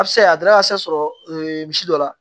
A bɛ se ka a danaya se sɔrɔ misi dɔ la